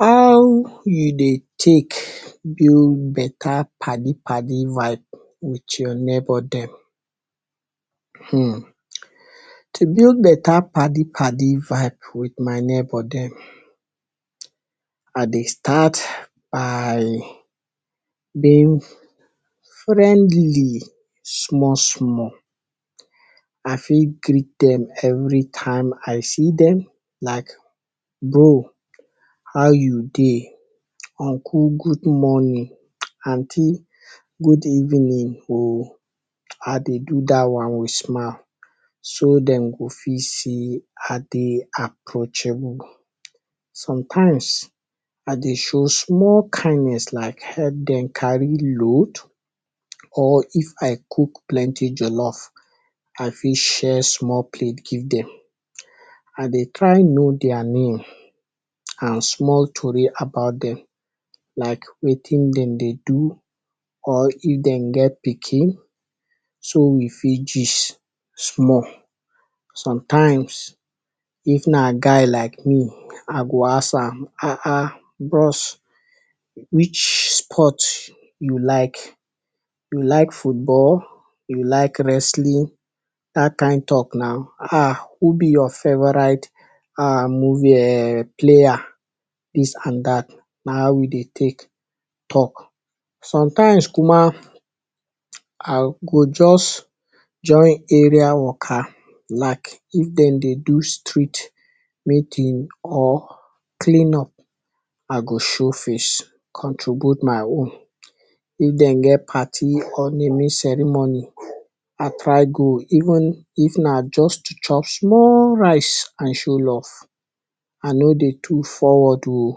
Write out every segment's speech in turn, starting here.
How you dey take build better paddy paddy vibe with your neighbor dem? um to build better paddy paddy vibe with my neighbor dem I dey start by being friendly small small I fit greet dem anytime I see dem like dooh um how you dey, uncle good morning, aunty good evening um I dey do dat one with smile so dem fit see I dey approachable, sometimes I dey show small kindness like help dem carry load or if I cook plenty jollof I fit share small plate give dem, I dey try know there name and small tori about dem, like wetin dem dey do or if dem get pikin, so we fit gist small, sometimes if na guy like me I go ask am um] bros which sport you like you like football, you like wrestling, um who be your favorite movie um player dis and dat na we dey take talk. Sometimes ma I go just join area waka like if dem dey do street meeting or clean up, I go show face contribute my own, if dem get party or naming ceremony I try go even if na just to chop small rice I show love, I no dey too forward um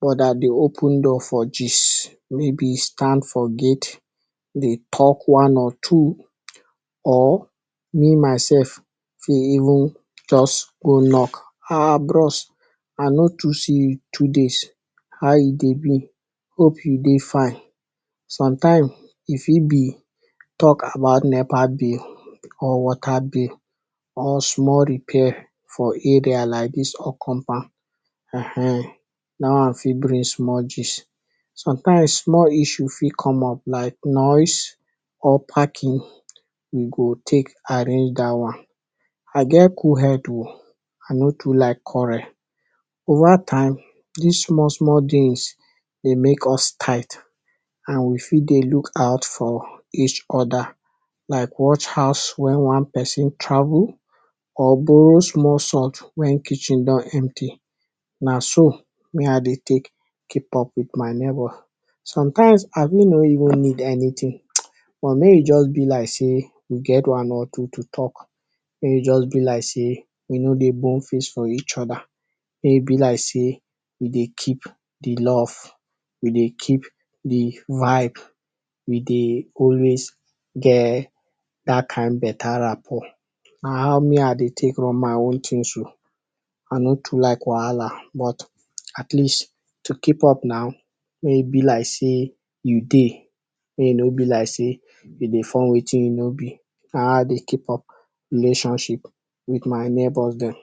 but I dey open door for gist, maybe stand for gate dey talk one or two or me myself fit even just go knock um bros I no too see you today, how e dey be? Hope you dey fine? Sometimes e fit be talk about nepa bill or water bill or small repair for area like dis compound um dat one fit bring small gist. Sometimes small issue fit come up like noise or parking we go take arrange dat one. I get cool head um I no too like quarrel. Over time dis small small things dey make us tight and we fit dey look out for each other, like watch house when one person travel or borrow small salt when kitchen don empty, na so me I dey take keep up with my neighbor. Sometimes I fit no even need anything but make e just be as sey we get one or two to talk, make e just be like sey we no dey bone face for each other, make e be like sey we dey keep de love we dey keep de vibes, we dey always get dat kind better rampo na how me I dey take run my own things um I no too like wahala but at least to keep up na be like sey you dey make e no be like sey you dey form wetin you nor be na how I dey keep up relationship with my neighbours dem.